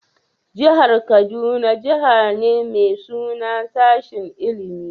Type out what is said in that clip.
Jihar kaduna Jihar ne mai suna sashin ilimie.